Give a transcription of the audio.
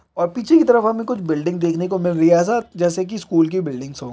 और पीछे की तरफ हमे कुछ बिल्डिंग्स देखने को मिल रही है ऐसा जैसा स्कूल की बिल्डिंग्स हो।